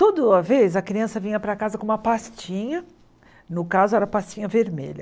Toda vez a criança vinha para casa com uma pastinha, no caso era pastinha vermelha.